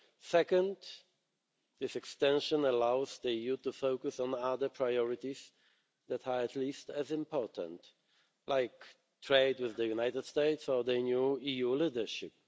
Second, this extension allows the EU to focus on other priorities that are at least as important, like trade with the United States or the new EU leadership.